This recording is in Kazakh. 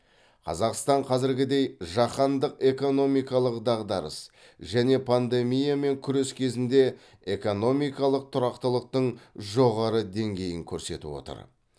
қазақстан қазіргідей жаһандық экономикалық дағдарыс және пандемиямен күрес кезінде экономикалық тұрақтылықтың жоғары деңгейін көрсетіп отыр